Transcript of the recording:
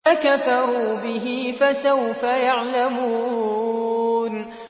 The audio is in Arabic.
فَكَفَرُوا بِهِ ۖ فَسَوْفَ يَعْلَمُونَ